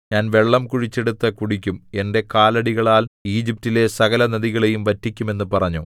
ഞാൻ വെള്ളം കുഴിച്ചെടുത്തു കുടിക്കും എന്റെ കാലടികളാൽ ഈജിപ്റ്റിലെ സകലനദികളെയും വറ്റിക്കും എന്നു പറഞ്ഞു